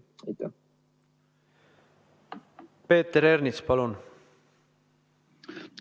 Peeter Ernits, palun!